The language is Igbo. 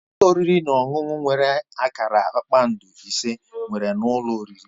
Ụlọ oriri na ọṅụṅụ nwere akara kpakpando ise nwere ụlọ oriri.